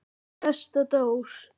Besta Dór.